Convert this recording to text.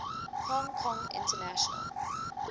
hong kong international